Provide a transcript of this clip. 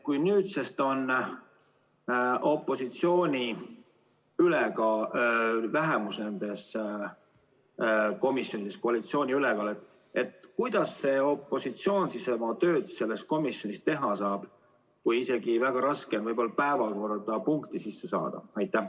Kui nüüdsest on nendes komisjonides opositsiooni vähemus ja koalitsiooni ülekaal, siis kuidas opositsioon oma tööd selles komisjonis teha saab, arvestades, et neil on väga raske isegi päevakorda punkti sisse saada?